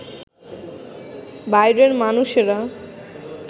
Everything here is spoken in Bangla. বাইরের মানুষেরা